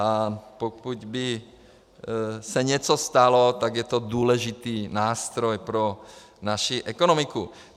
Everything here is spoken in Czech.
A pokud by se něco stalo, tak je to důležitý nástroj pro naši ekonomiku.